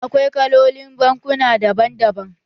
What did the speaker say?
Akwai kalolin bankuna daban daban.